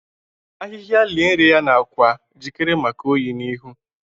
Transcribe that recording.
Ahịhịa lie nri ya n’akwa, jikere maka oyi oyi n’ihu.